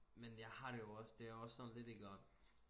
Men jeg har det jo også det er også sådan lidt iggå